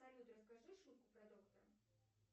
салют расскажи шутку про доктора